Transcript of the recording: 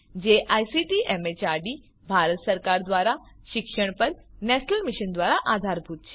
જે ICT MHRD Bharat સરકાર દ્વારા શિક્ષણ પર નેશનલ મિશન દ્વારા આધારભૂત છે